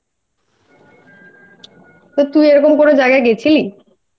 তো তুই এরকম কোন জায়গায় গেছিলি?